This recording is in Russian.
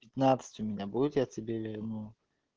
пятнатцать у меня будет я тебе верну